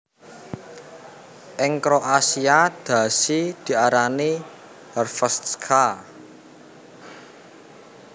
Ing kroasia dhasi diarani Hrvatska